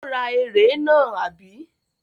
Ó ra ère náà, àbí?